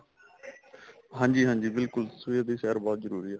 ਹਾਂਜੀ ਹਾਂਜੀ ਬਿਲਕੁਲ ਸਵੇਰ ਦੀ ਸੈਰ ਬਹੁਤ ਜਰੂਰੀ ਆ